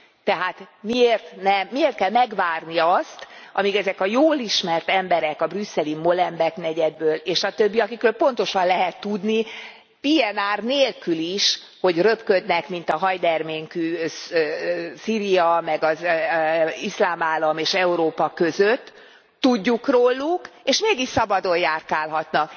Tehát miért kell megvárni azt, amíg ezek a jól ismert emberek a brüsszeli Molenbeek negyedből, és a többi, akikről pontosan lehet tudni, PNR nélkül is, hogy röpköd, mint a hajderménkű Szíria, meg az Iszlám Állam és Európa között Tudjuk róluk, és mégis szabadon járkálhatnak.